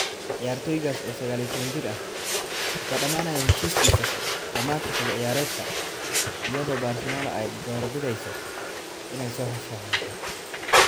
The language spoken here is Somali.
Ciyaartoygaas, oo saqal iyo tawan jir ah, wuxuu dhammaanayaa heshiiskiisa dhammaadka xilli ciyaareedka, iyadoo Barcelona ay doorbidayso inay soo saxiixato.